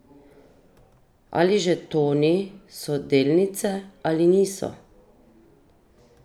Ali žetoni so delnice ali niso?